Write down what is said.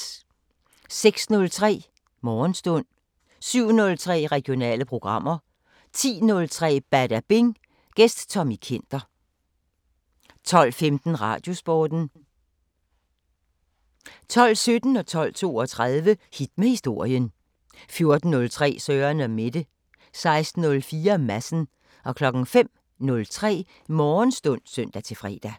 06:03: Morgenstund 07:03: Regionale programmer 10:03: Badabing: Gæst Tommy Kenter 12:15: Radiosporten 12:17: Hit med historien 12:32: Hit med historien 14:03: Søren & Mette 16:04: Madsen 05:03: Morgenstund (søn-fre)